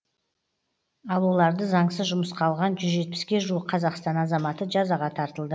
ал оларды заңсыз жұмысқа алған жүз жетпіске жуық қазақстан азаматы жазаға тартылды